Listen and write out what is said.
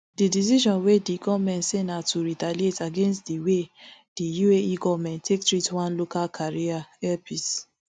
di decision wey di goment say na to retaliate against di way di uae goment take treat one local carrier air peace